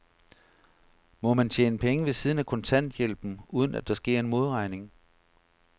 Må man tjene penge ved siden af kontanthjælpen, uden at der sker en modregning?